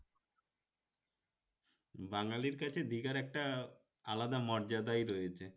বাঙালির কাছে দীঘার একটা আলাদা মর্যাদাই রয়েছে